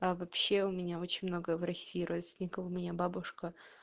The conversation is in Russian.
а вообще у меня очень много в россии родственников у меня бабушка